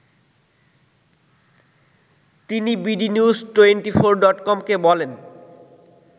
তিনি bdnews twenty four ডটকমকে বলেন